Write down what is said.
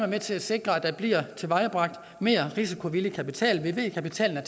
med til at sikre at der bliver tilvejebragt mere risikovillig kapital vi ved at kapitalen er